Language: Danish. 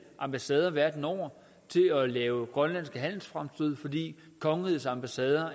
ambassader verden over til at lave grønlandske handelsfremstød fordi kongerigets ambassader